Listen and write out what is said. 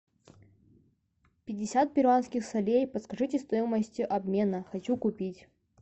пятьдесят перуанских солей подскажите стоимость обмена хочу купить